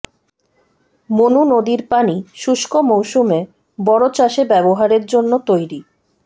মনু নদীর পানি শুষ্ক মৌসুমে বোরো চাষে ব্যবহারের জন্য তৈরি